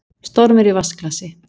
Stormur í vatnsglasi